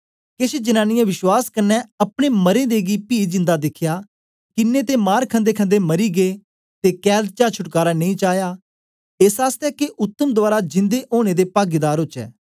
केछ जनांनीयें विश्वास क्न्ने अपने मरें दें गी पी जिंदा दिखया किन्नें ते मार खंदेखंदे मरी गै ते कैद चा छुटकारा नेई चाया एस आसतै के उत्तम दवारा जिंदे ओनें दे पागीदार ओचै